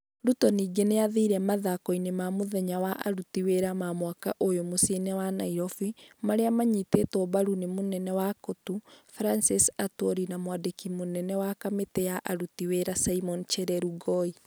Ruto ningĩ nĩ aathire mathikoinĩ ma mũthenya wa aruti wĩra ma mwaka ũyũ mũciĩ-inĩ wa Nairobi, marĩa maanyitĩtwo mbaru nĩ mũnene wa Cotu, Francis Atwoli na mwandiki wa kamĩtĩ ya aruti wĩra Simon Chelugui.